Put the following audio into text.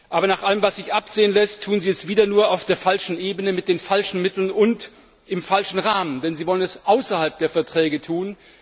Aber nach allem, was sich absehen lässt, tun Sie es wieder nur auf der falschen Ebene mit den falschen Mitteln und im falschen Rahmen, denn Sie wollen es außerhalb der Verträge tun.